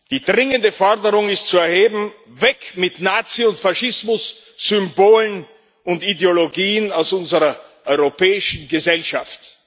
Die dringende Forderung ist zu erheben Weg mit Nazi und Faschismussymbolen und Ideologien aus unserer europäischen Gesellschaft!